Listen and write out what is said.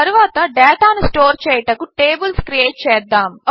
తరువాత డేటాను స్టోర్ చేయుటకు టేబిల్స్ క్రియేట్ చేద్దాము